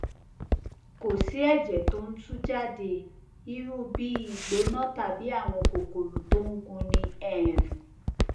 kò sí ẹjẹ tó ń tú jáde irú bí ìgbóná tàbí àwọn kòkòrò tó ń gúnni um